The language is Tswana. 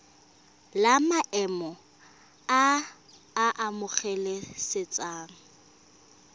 la maemo a a amogelesegang